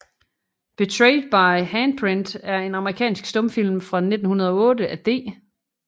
Betrayed by a Handprint er en amerikansk stumfilm fra 1908 af D